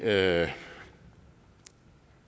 jeg